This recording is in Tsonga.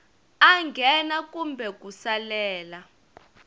a nghena kumbe ku salela